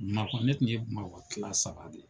Bamakɔ, ne kun ye bamakɔ kilan saba de ye.